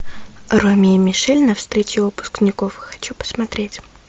роми и мишель на встрече выпускников хочу посмотреть